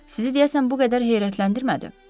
Sizi deyəsən bu qədər heyrətləndirmədi.